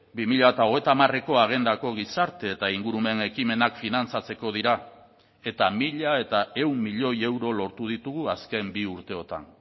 bi mila hogeita hamareko agendako gizarte eta ingurumen ekimenak finantzatzeko dira eta mila ehun milioi euro lortu ditugu azken bi urteotan